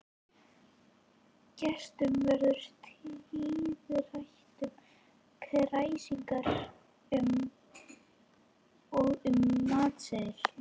Gestum verður tíðrætt um kræsingarnar og um matseðilinn.